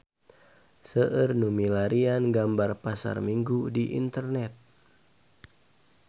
Seueur nu milarian gambar Pasar Minggu di internet